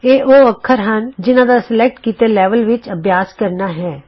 ਇਹ ਉਹ ਅੱਖਰ ਹਨ ਜਿਨ੍ਹਾ ਦਾ ਸਲੈਕਟ ਕੀਤੇ ਲੈਵਲ ਵਿਚ ਅਭਿਆਸ ਕਰਨਾ ਹੈ